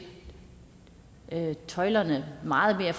tøjlerne meget mere